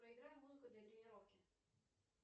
проиграй музыку для тренировки